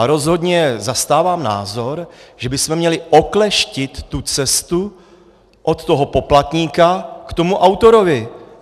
A rozhodně zastávám názor, že bychom měli okleštit tu cestu od toho poplatníka k tomu autorovi.